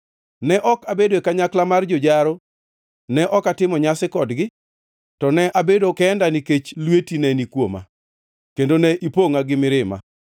Ne ok abedo e kanyakla mar jojaro, ne ok atimo nyasi kodgi; to ne abedo kenda nikech lweti ne ni kuoma kendo ne ipongʼa gi mirima.